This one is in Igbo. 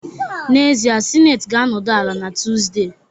N'ezie, Senate ga-anọdụ ala na Tuesday